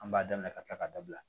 An b'a daminɛ ka kila ka dabila